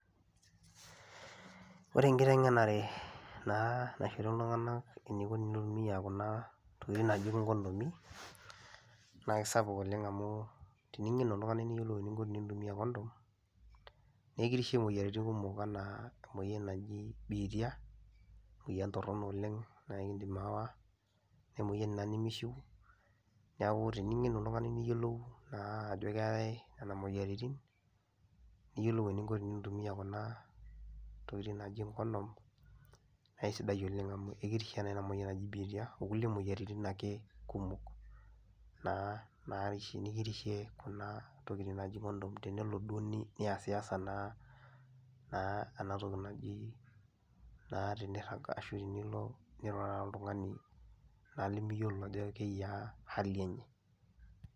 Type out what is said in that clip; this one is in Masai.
Ore enkitengenare naa naishori iltung'ana eneiko teneitumia kuna tokitin naaji  ingondomi naake sapuk oleng' amuu tining'enu oltung'ani niyiolo ninko tinintumia  kondom nekirishe moyaritin kumok anaa emoyan naji biitia, emuoyian torrono oleng' naaikindim aawa, nee moyan ina nimishiu neaaku tining'enu oltung'ani niyiolou naa ajo keetai nena moyaritin niyiolou eninko tinintumia kuna tokitin naaji kondom naaisidai oleng' amu kirishe naa ina moyian naji biitia okulie moyaritin ake kumok naa nikirishe kuna tokitin naaji kondom tenelo duo niasiasa naa enatoki najii naa tinirrag ashu tinilo nirurara oltung'ani naa limiyiolo ajo keiyaa hali enye.